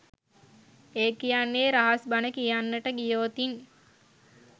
ඒ කියන්නේ රහස් බණ කියන්නට ගියෝතින්